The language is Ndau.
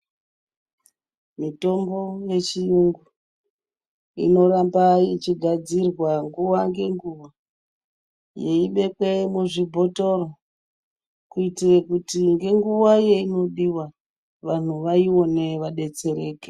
Mitombo yechiyungu inoramba ichigadzirwa nguwa ngenguwa yeibekwe muzvibhothoro kuitira kuti ngenguwa yainodiwa vanhu vaione vadetsereke.